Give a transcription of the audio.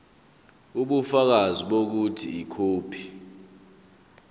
ubufakazi bokuthi ikhophi